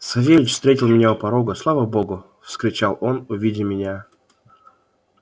савельич встретил меня у порога слава богу вскричал он увидя меня